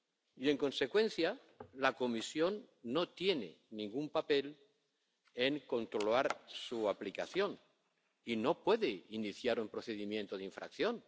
Y, en consecuencia, la Comisión no tiene ningún papel en controlar su aplicación y no puede iniciar un procedimiento de infracción.